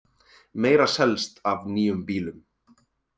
Meira selst af nýjum bílum